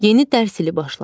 Yeni dərs ili başladı.